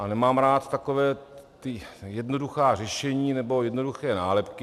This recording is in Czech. A nemám rád taková ta jednoduchá řešení, nebo jednoduché nálepky.